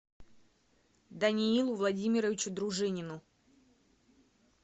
даниилу владимировичу дружинину